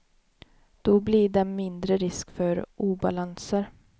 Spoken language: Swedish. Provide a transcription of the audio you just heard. Då blir det mindre risk för obalanser.